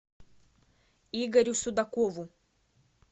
игорю судакову